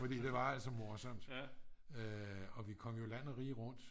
fordi det var altså morsomt og vi kom jo land og rige rundt